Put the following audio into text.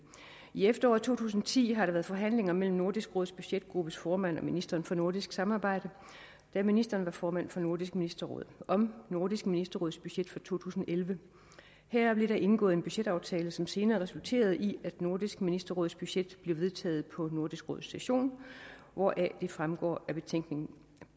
i efteråret to tusind og ti har der været forhandlinger mellem nordisk råds budgetgruppes formand og ministeren for nordisk samarbejde da ministeren var formand for nordisk ministerråd om nordisk ministerråds budget for to tusind og elleve her blev der indgået en budgetaftale som senere resulterede i at nordisk ministerråds budget blev vedtaget på nordisk råds session hvoraf det fremgår af betænkning